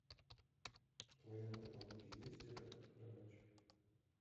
в твоем каталоге есть это под кроватью